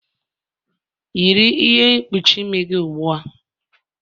Yiri ihe mkpuchi imi gị ugbua!